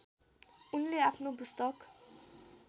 उनले आफ्नो पुस्तक